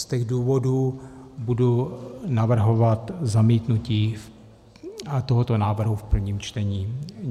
Z těchto důvodů budu navrhovat zamítnutí tohoto návrhu v prvém čtení.